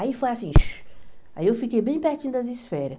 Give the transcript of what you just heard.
Aí foi assim, aí eu fiquei bem pertinho das esferas.